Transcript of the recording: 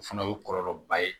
O fana o ye kɔlɔlɔba ye